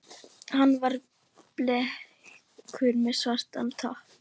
Hann var bleikur með svartan topp.